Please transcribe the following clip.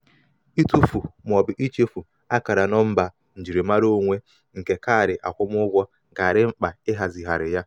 itụfu ma ọ bụ ichefu akara nọmba njirimara onwe nke kaadị akwụmụgwọ ga-adị mkpa ịhazigharị ya.